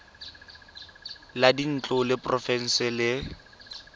la dintlo la porofense le